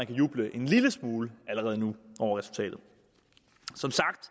kan juble en lille smule over resultatet som sagt